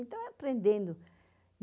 Então, é aprendendo.